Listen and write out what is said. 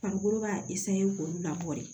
Farikolo b'a k'olu labɔ de